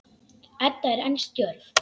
Edda er enn stjörf.